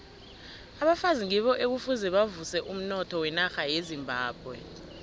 abafazi ngibo ekufuze bavuse umnotho wenarha yezimbabwe